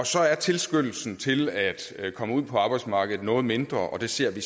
så er tilskyndelsen til at komme ud på arbejdsmarkedet noget mindre og det ser vi